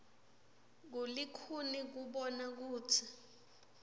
kulikhuni kubona kutsi